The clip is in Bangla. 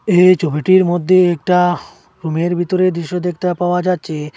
এই ছবিটির মধ্যে একটা রুমের ভিতরের দৃশ্য দেখতে পাওয়া যাচ্ছে।